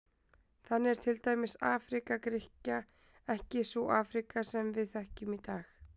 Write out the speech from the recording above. Þannig er til dæmis Afríka Grikkja ekki sú Afríka sem við þekkjum í dag.